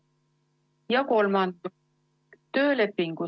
Ja kolmandaks, töölepingu ...